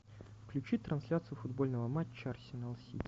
включи трансляцию футбольного матча арсенал сити